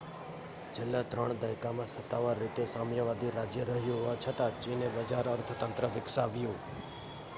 છેલ્લા ત્રણ દાયકામાં સત્તાવાર રીતે સામ્યવાદી રાજ્ય રહ્યું હોવા છતાં ચીને બજાર અર્થતંત્ર વિકસાવ્યું